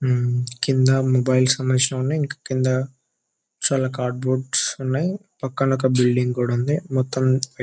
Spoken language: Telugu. కింద మొబైల్ సమందించినవి ఉన్నాయ్ ఇంకా కింద చాలా కార్డు బోర్డ్స్ ఉన్నాయి పక్కన ఒక బిల్డింగ్ కూడా ఉంది మొత్తం--